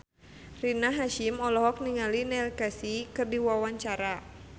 Rina Hasyim olohok ningali Neil Casey keur diwawancara